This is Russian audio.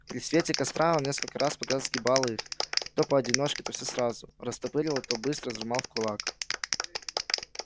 при свете костра он несколько раз подряд сгибал их то поодиночке то все сразу то растопыривал то быстро сжимал в кулак